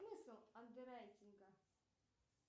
смысл андеррайтинга